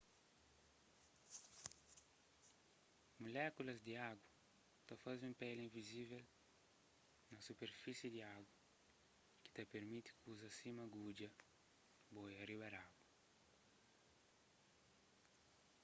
mulékulas di agu ta faze un peli invizivel na superfisi di agu ki ta pirmiti kuzas sima gudja boia riba di agu